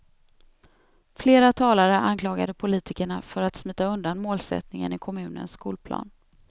Flera talare anklagade politikerna för att smita undan målsättningen i kommunens skolplan.